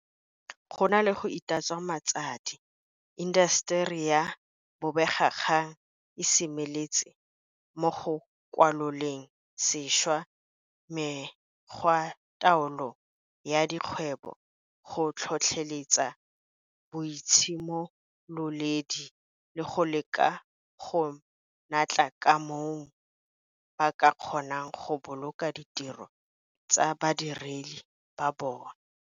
Go na le go itatswa matsadi, intaseteri ya bobegakgang e semeletse mo go kwaloleng sešwa mekgwataolo ya dikgwebo, go tlhotlheletsa boitshimololedi le go leka ka natla ka moo ba ka kgonang go boloka ditiro tsa badiredi ba bona.